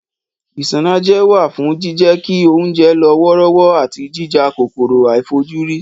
Isanaje wà fún jíjẹ́ kí oúnjẹ lọ wọ́rọ́wọ́ àti jíjà kòkòrò àìfojúrí